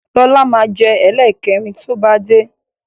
Lọ́la máa jẹ ẹlẹ́kẹrin to bá dé